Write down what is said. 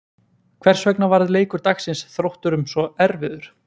Hvers vegna varð leikur dagsins Þrótturum svo erfiður?